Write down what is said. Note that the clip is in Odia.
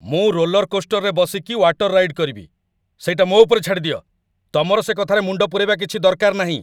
ମୁଁ ରୋଲରକୋଷ୍ଟରରେ ବସିକି ୱାଟର ରାଇଡ୍‌ କରିବି ସେଇଟା ମୋ' ଉପରେ ଛାଡ଼ିଦିଅ, ତମର ସେ କଥାରେ ମୁଣ୍ଡ ପୂରେଇବା କିଛି ଦରକାର ନାହିଁ ।